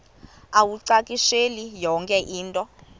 uwacakushele yonke into